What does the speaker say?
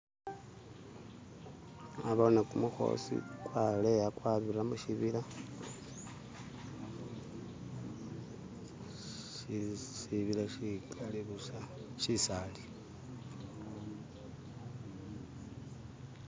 Naboone kumukhosi kwaleya kwabila mushibila, sibiila sikali busa, shisali.